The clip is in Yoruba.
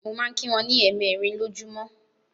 Mo máa ń kí wọn ní ẹ̀mẹẹ̀rin lọjúmọ́.